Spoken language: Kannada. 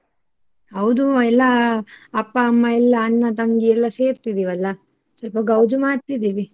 ಹೌದು ಎಲ್ಲಾ ಅಪ್ಪ ಅಮ್ಮ ಎಲ್ಲ ಅಣ್ಣ ತಂಗಿ ಎಲ್ಲ ಸೇರ್ತಿದೀವಲ್ಲ ಸ್ವಲ್ಪ ಗೌಜು ಮಾಡ್ತಿದ್ದಿವಿ.